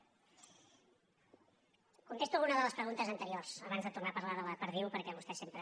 contesto alguna de les preguntes anteriors abans de tornar a parlar de la perdiu perquè vostè sempre